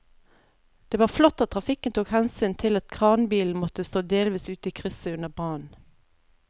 Det var flott at trafikken tok hensyn til at kranbilen måtte stå delvis ute i krysset under brannen.